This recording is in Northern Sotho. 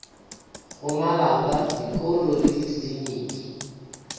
go malapa dikolo le dikliniki